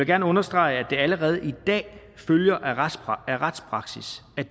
gerne understrege at det allerede i dag følger af retspraksis at